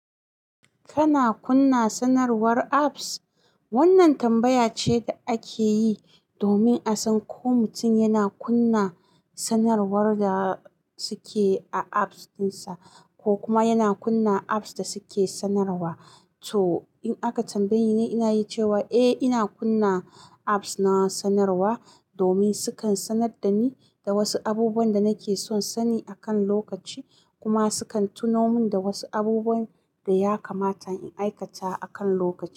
Kana kunna sanarwar apps? Wannan tambaya ce da ake yi domin a san ko mutum yana kunna sanarwar da suke a apps ɗinsa ko kuma yana kunna apps da suke sanarwa. To in aka tambaye ni, ina yi cewa eh ina kunna apps na sanarwa domin sukan sanar da ni da wasu abubuwan da nake son sani akan lokaci kuma sukan tuno min da wasu abubuwan da ya kamata in aikata a kan lokaci.